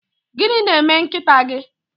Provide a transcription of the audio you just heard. Gịnị na-eme nkịta gị?